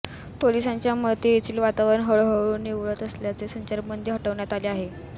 पोलिसांच्या मते येथील वातावरण हळूहळू निवळत असल्याने संचारबंदी हटवण्यात आली आहे